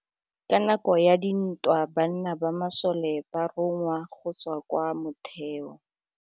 Ka nakô ya dintwa banna ba masole ba rongwa go tswa kwa mothêô.